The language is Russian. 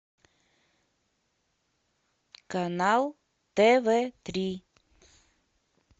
канал тв три